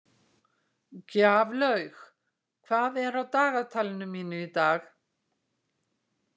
Gjaflaug, hvað er á dagatalinu mínu í dag?